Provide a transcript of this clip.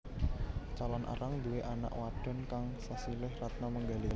Calon Arang nduwé anak wadhon kang sesilih Ratna Manggali